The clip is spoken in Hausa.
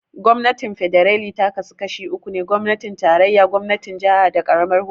Gwamnatin Fedarali ta kasu gida uku ne, gwamnatin tarayya, gwamnatin jaha, da karamar hukuma.